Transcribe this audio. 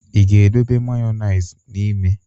Ị ga-edobe mayoneize n'ime?